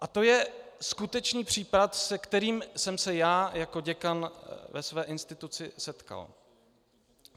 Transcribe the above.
A to je skutečný případ, se kterým jsem se já jako děkan ve své instituci setkal.